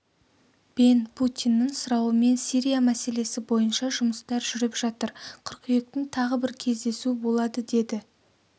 бен путиннің сұрауымен сирия мәселесі бойынша жұмыстар жүріп жатыр қыркүйектің тағы бір кездесу болады деді